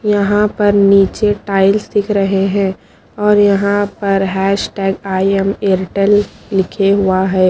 यहाँ पर नीचे टाइल्स दिख रहे हैं और यहाँ पर हयशटयाग आय म एयरटेल लिखे हुआ हैं।